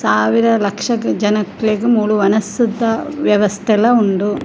ಸಾವಿರ ಲಕ್ಷ ಜನಕ್ಲೆಗ್ ಮೂಲು ವನಸುದ ವ್ಯವಸ್ಥೆಲ ಉಂಡು.